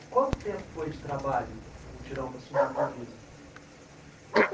Quanto tempo foi de trabalho, de mutirão para subir tudo isso?